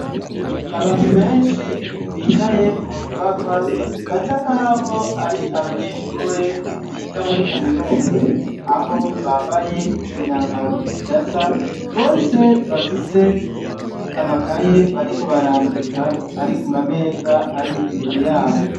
Abantu benshi bicaye munyubakwa basa nkaho ari abanyeshure biga muri kaminuza aho bambaye imyambaro idasa, bose bafise amakaye bariko barandika ari kumameza ar'imbere yabo.